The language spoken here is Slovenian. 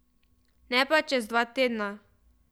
Ne pa čez dva tedna.